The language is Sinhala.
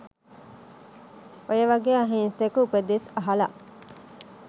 ඔය වගේ අහිංසක උපදෙස් අහල